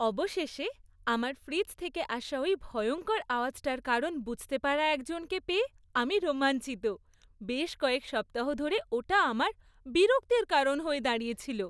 অবশেষে, আমার ফ্রিজ থেকে আসা ওই ভয়ঙ্কর আওয়াজটার কারণ বুঝতে পারা একজনকে পেয়ে আমি রোমাঞ্চিত, বেশ কয়েক সপ্তাহ ধরে ওটা আমার বিরক্তির কারণ হয়ে দাঁড়িয়েছিল।